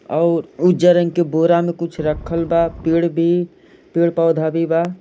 और उजा रंग के बोरा में कुछ रखल बा पेड़ भी पेड़-पौधा भी बा।